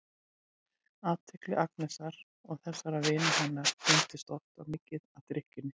Athygli Agnesar og þessara vina hennar beinist alltof mikið að drykkjunni.